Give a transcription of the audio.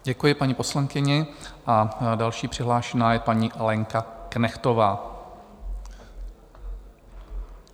Děkuji paní poslankyni a další přihlášená je paní Lenka Knechtová.